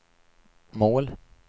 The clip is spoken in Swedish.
mål